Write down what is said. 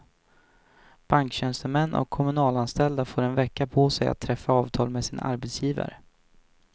Banktjänstemän och kommunalanställda får en vecka på sig att träffa avtal med sina arbetsgivare.